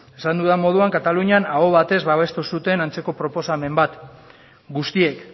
esan dudan moduan katalunian aho batez babestu zuten antzeko proposamen bat guztiek